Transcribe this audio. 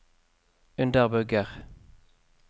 underbygger